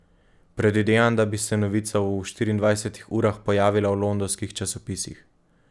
Predvidevam, da bi se novica v štiriindvajsetih urah pojavila v londonskih časopisih.